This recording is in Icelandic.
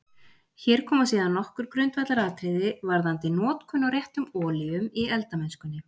Hér koma síðan nokkur grundvallaratriði varðandi notkun á réttum olíum í eldamennskunni.